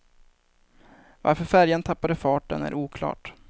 Varför färjan tappade farten är oklart.